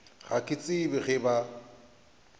ga ke tsebe ge ba